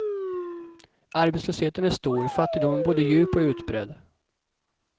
Arbetslösheten är stor, fattigdomen både djup och utbredd.